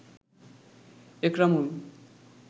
Ekramul